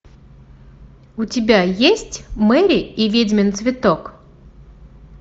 у тебя есть мэри и ведьмин цветок